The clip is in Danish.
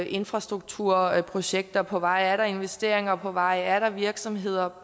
infrastrukturprojekter på vej er der investeringer på vej er der virksomheder